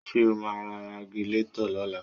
Ṣé o máa ra Ragilatọ̀ lọ́la?